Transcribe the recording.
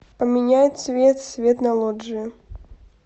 поменяй цвет свет на лоджии